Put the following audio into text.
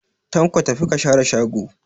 Tanko, tafi ka share shago